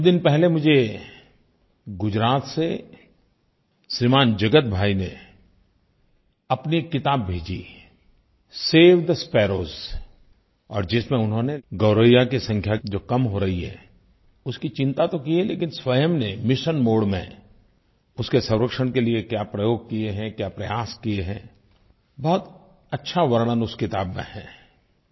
कुछ दिन पहले मुझे गुजरात से श्रीमान जगत भाई ने अपनी एक किताब भेजी है सेव थे स्पैरोज और जिसमें उन्होंने गौरैया की संख्या जो कम हो रही है उसकी चिंता तो की है लेकिन स्वयं ने मिशन मोडे में उसके संरक्षण के लिये क्या प्रयोग किये हैं क्या प्रयास किये हैं बहुत अच्छा वर्णन उस किताब में है